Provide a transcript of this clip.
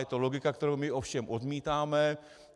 Je to logika, kterou my ovšem odmítáme.